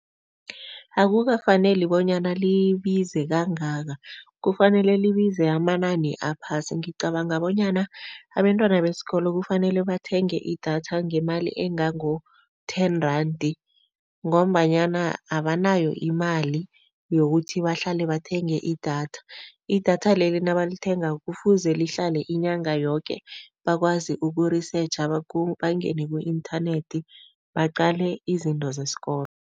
Akukafaneli bonyana libize kangaka, kufanele libize amanani aphasi. Ngicabanga bonyana abentwana besikolo kufanele bathenge idatha ngemali engango-ten rand ngombanyana abanayo imali yokuthi bahlale bathenge idatha. Idatha leli nabalithengako kufuze lihlale inyanga yoke, bakwazi uku-research bangene ku-inthanethi baqale izinto zesikolo.